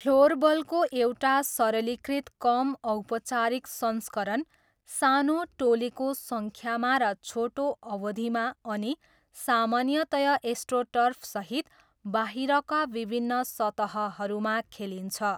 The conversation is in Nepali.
फ्लोरबलको एउटा सरलीकृत कम औपचारिक संस्करण, सानो टोलीको सङ्ख्यामा र छोटो अवधिमा अनि सामान्यतया एस्ट्रोटर्फसहित बाहिरका विभिन्न सतहहरूमा खेलिन्छ।